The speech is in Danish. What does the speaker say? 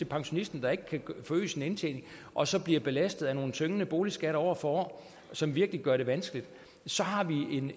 pensionisten der ikke kan forøge sin indtjening og så bliver belastet af nogle tyngende boligskatter år for år som virkelig gør det vanskeligt så har vi